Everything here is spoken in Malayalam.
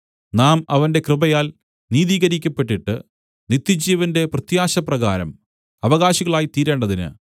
നാം അവന്റെ കൃപയാൽ നീതീകരിക്കപ്പെട്ടിട്ട് നിത്യജീവന്റെ പ്രത്യാശപ്രകാരം അവകാശികളായിത്തീരേണ്ടതിന്